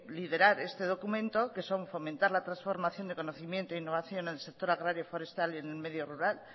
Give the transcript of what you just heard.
liderar ese documento que son fomentar la transformación de conocimiento innovación en el sector agrario forestal en el medio rural